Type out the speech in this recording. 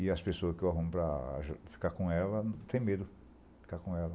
E as pessoas que eu arrumo para ficar com ela, tem medo de ficar com ela.